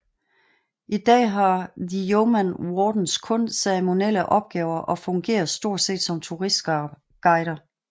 I dag har the Yeoman Wardens kun ceremonielle opgaver og fungerer stort set som turistguider